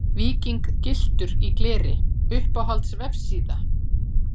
Víking gylltur í gleri Uppáhalds vefsíða?